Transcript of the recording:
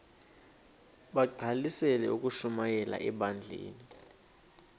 bagqalisele ukushumayela ebandleni